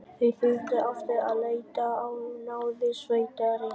Þau þurftu aftur að leita á náðir sveitarinnar.